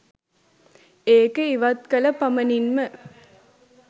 ඒක ඉවත් කළ පමණින්ම